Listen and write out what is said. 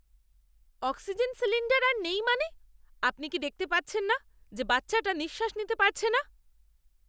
Oxygen cylinder আর নেই মানে? আপনি কি দেখতে পাচ্ছেন না যে বাচ্চাটা নিঃশ্বাস নিতে পারছে না?